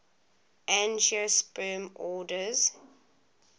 angiosperm orders